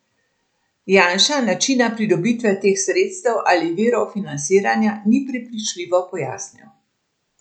Janša načina pridobitve teh sredstev ali virov financiranja ni prepričljivo pojasnil.